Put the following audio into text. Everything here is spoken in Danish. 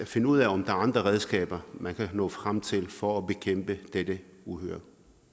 finde ud af om der er andre redskaber man kan nå frem til for at bekæmpe dette uhyre